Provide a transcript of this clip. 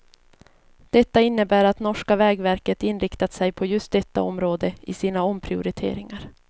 Detta innebär att norska vägverket inriktat sig på just detta område i sina omprioriteringar.